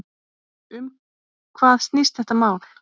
Um hvað snýst þetta mál?